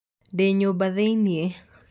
ndĩ nyũmba thĩinĩ